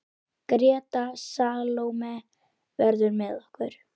Greta Salóme verður með okkur.